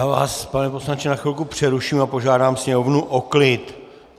Já vás, pane poslanče, na chvilku přeruším a požádám sněmovnu o klid.